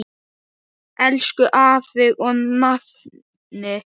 Elsku afi og nafni.